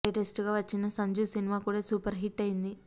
latest గా వచ్చిన సంజు సినిమా కూడా సూపర్ హిట్ అయింది